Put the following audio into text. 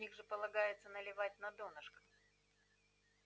в них же полагается наливать на донышко